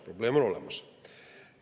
Probleem on olemas!